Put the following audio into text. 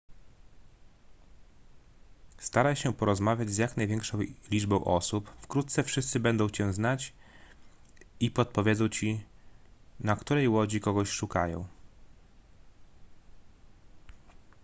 staraj się porozmawiać z jak największą liczbą osób wkrótce wszyscy będą cię znać i podpowiedzą ci na której łodzi kogoś szukają